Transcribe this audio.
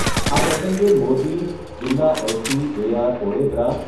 આ પ્રસંગે મોરબી, જીલ્લા એસપી એસઆર ઓડેદરા,